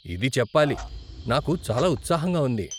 ఇది చెప్పాలి, నాకు చాలా ఉత్సాహంగా ఉంది.